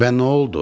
Və noldu?